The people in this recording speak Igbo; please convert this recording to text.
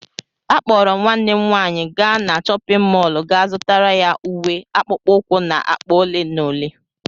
Akpọrọ m nwanne m nwanyị gaa na chọpịn mọọlụ ga zụtara ya uwe, akpụkpọ ụkwụ na akpa ole na ole.